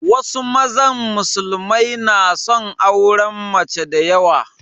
Wasu mazan musulmai na son auren mace da yawa